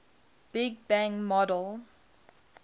big bang model